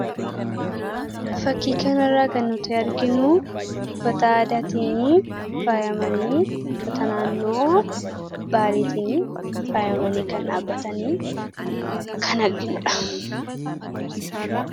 Fakkii kanarraa kan nuti arginu uffata aadaatiin faayamanii akka naannoo baaleetiin faayamanii kan jiran kan arginudha.